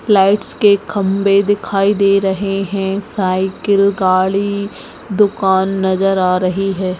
Lights के खंम्बे दिखाई दे रहे है साइकिल गाड़ी दुकान नजर आ रही है।